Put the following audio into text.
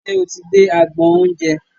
Ṣe o ti dé agbọn oúnjẹ?